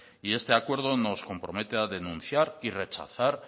y este acuerdo nos compromete a denunciar y rechazar